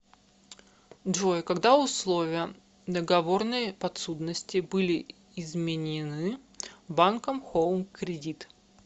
джой когда условия договорной подсудности были изменены банком хоум кредит